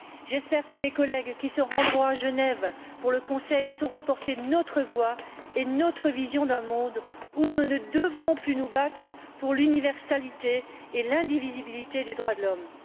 J'espère que mes collègues qui se rendront à Genève pour le Conseil sauront porter notre voix et notre vision d'un monde où nous ne devrons plus nous battre pour l'universalité et l'indivisibilité des droits de l'homme.